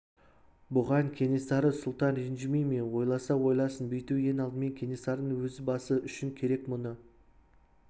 бұған кенесары сұлтан ренжімей ме ойласа ойласын бүйту ең алдымен кенесарының өз басы үшін керек мұны